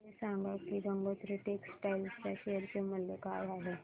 हे सांगा की गंगोत्री टेक्स्टाइल च्या शेअर चे मूल्य काय आहे